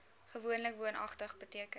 gewoonlik woonagtig beteken